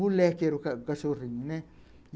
Moleque era o cachorrinho, né.